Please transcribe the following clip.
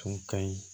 Tun ka ɲi